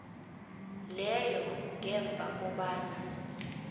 leyo ngemva kobana